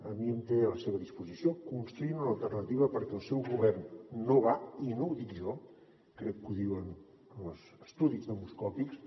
a mi em té a la seva disposició construint una alternativa perquè el seu govern no va i no ho dic jo crec que ho diuen els estudis demoscòpics